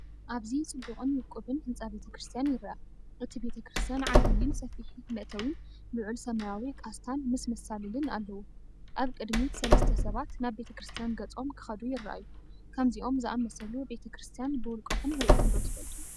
ኣብዚ ፅቡቅን ውቁብን ህንጻ ቤተ ክርስቲያን ይርአ። እቲ ቤተክርስትያን ዓቢይን ሰፊሕ መእተዊን፣ ልዑል ሰማያዊ ቃስታን ምስ መሳልልን ኣለዎ። ኣብ ቅድሚት ሰለስተ ሰባት ናብ ቤተ ክርስቲያን ገጾም ክኸዱ ይረኣዩ። ከምዚኦም ዝኣመሰሉ ቤተ ክርስቲያን ብውልቅኹም ርኢኹም ዶ ትፈልጡ?